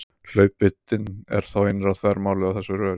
Hlaupvíddin er þá innra þvermálið á þessu röri.